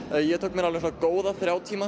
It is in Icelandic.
ég tek mér góða þrjá tíma